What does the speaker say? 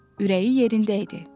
Ürəyi yerində idi.